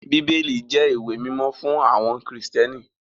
Bíbélì jẹ́ ìwé mímọ́ fún àwọn Kristẹni.